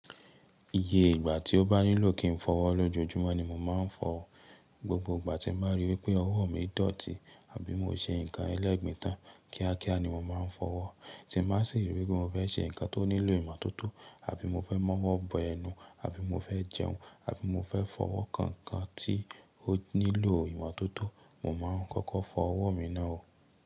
Iye ìgbà tí ó bá nílò kí n fọwọ́ lójoojúmọ́ ni mo máa ń fọwọ́. Gbogbo ìgbà tí mo bá ríi wípé ọwọ́ mi dọ̀tí àbí mo ṣe nǹkan ẹlẹ́gbin tan kíákíá ni mo máa ń fọwọ́. Tí n bá sì ríi wípé mo fẹ́ ṣe nǹkan tó nílò ìmo tótó àbí mo fẹ́ mọ́wọ́ bọ ẹnu àbí mo fẹ́ jẹun àbí mo fẹ́ fọwọ́ kan nkan tí ó nílò ìmo tótó, mo máa ń kọ́kọ́ fọ ọwọ́ mi náà oò.